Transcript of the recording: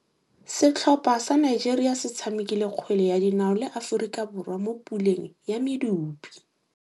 Setlhopha sa Nigeria se tshamekile kgwele ya dinaô le Aforika Borwa mo puleng ya medupe.